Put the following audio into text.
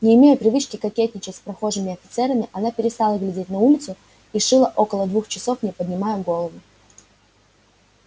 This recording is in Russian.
не имея привычки кокетничать с прохожими офицерами она перестала глядеть на улицу и шила около двух часов не поднимая голову